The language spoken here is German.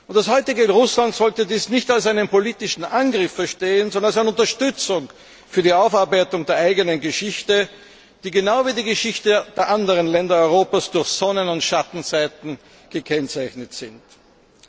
Das heutige Russland sollte dies nicht als einen politischen Angriff verstehen, sondern als eine Unterstützung für die Aufarbeitung der eigenen Geschichte, die genau wie die Geschichte der anderen Länder Europas durch Sonnenseiten und Schattenseiten gekennzeichnet ist.